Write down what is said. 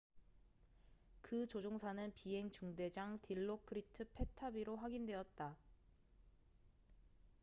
그 조종사는 비행 중대장 딜로크리트 패타비로 확인되었다